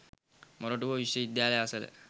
මොරටුව විශ්ව විද්‍යාලය අසල